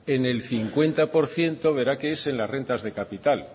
en el cincuenta por ciento verá que es en la renta de capital